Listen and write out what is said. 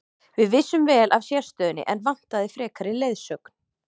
Við vissum vel af sérstöðunni en vantaði frekari leiðsögn.